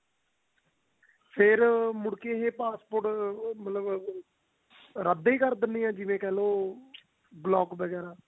ਫ਼ੇਰ ਮੁੜ ਕੇ ਉਹ passport ਰੱਦ ਹੀ ਕਰ ਦਿੰਨੇ ਆ ਜਿਵੇਂ ਕਿਹਲੋ block ਵਗੇਰਾ